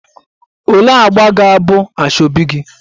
Olee agba ga-abụ asoebi gị?